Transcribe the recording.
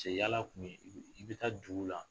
yala kun ye i bi, i bi taa duguw la